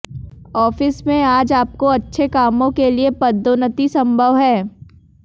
office में आज आपको अच्छे कामों के लिए पदोन्नति संभव है